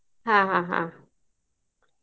ಹಾ ಹಾ ಹಾ.